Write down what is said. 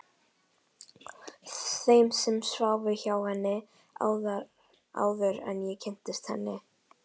Þeim sem sváfu hjá henni, áður en ég kynntist henni.